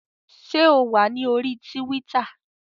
Ṣé o wà ní orí Tíwítà?